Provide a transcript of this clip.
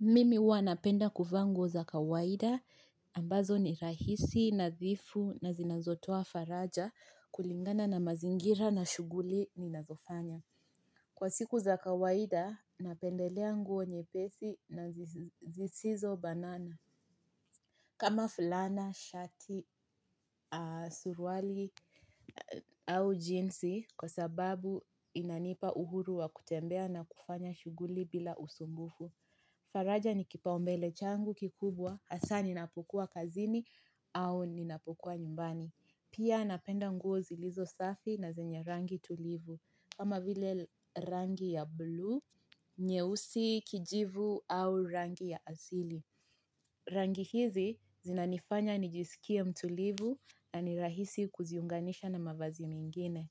Mimi huwa napenda kuvaa nguo za kawaida ambazo ni rahisi, nadhifu na zinazotoa faraja kulingana na mazingira na shuguli ni nazofanya. Kwa siku za kawaida napendelea nguo nyepesi na zisizo banana. Kama fulana, shati, surwali au jinsi kwa sababu inanipa uhuru wa kutembea na kufanya shuguli bila usumbufu. Faraja ni kipaumbele changu kikubwa hasa ninapokuwa kazini au ninapokuwa nyumbani. Pia napenda nguo zilizo safi na zenye rangi tulivu. Kama vile rangi ya blue, nyeusi kijivu au rangi ya asili. Rangi hizi zinanifanya nijisikie mtulivu na nirahisi kuziunganisha na mavazi mengine.